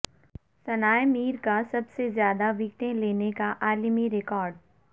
ثنا ء میر کا سب سے زیادہ وکٹیں لینے کا عالمی ریکارڈ